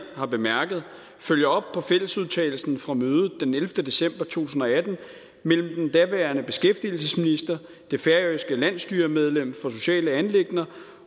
har bemærket følger på fællesudtalelsen fra mødet den ellevte december to tusind og atten mellem den daværende beskæftigelsesminister det færøske landsstyremedlem for sociale anliggender